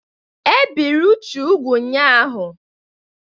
E biri Uche ụgwụ́ ụnyahụ.